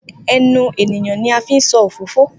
Enu eniyan ni a fi n so ofofo